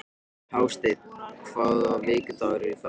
Hásteinn, hvaða vikudagur er í dag?